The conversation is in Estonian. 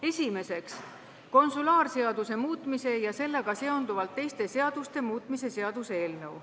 Esimeseks, konsulaarseaduse muutmise ja sellega seonduvalt teiste seaduste muutmise seaduse eelnõu.